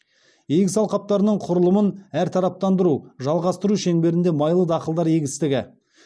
егіс алқаптарының құрылымын әртараптандыруды жалғастыру шеңберінде майлы дақылдар егістігі